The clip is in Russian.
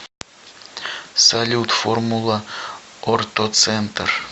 салют формула ортоцентр